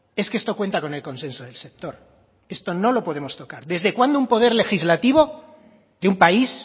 es que esto cuenta con el consenso del sector esto no lo podemos tocar desde cuándo un poder legislativo de un país